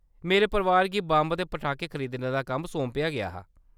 मेरे परोआरै गी बंब ते पटाखे खरीदने दा कम्म सौंपेआ गेआ हा।